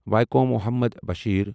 Vaikom Muhammad Bashir